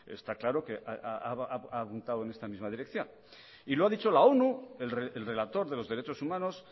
está claro ha puntado en esta misma dirección y lo ha dicho la onu el relator de los derechos humanos